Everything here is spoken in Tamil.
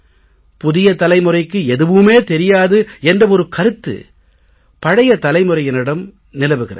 புதிய தலைமுறைக்கு எதுவுமே தெரியாது என்ற ஒரு கருத்து பழைய தலைமுறையினரிடம் நிலவுகிறது